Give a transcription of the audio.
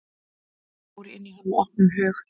Ég fór inn í hann með opnum hug.